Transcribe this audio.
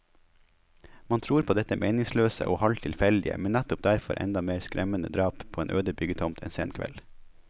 Man tror på dette meningsløse og halvt tilfeldige, men nettopp derfor enda mer skremmende drap på en øde byggetomt en sen kveld.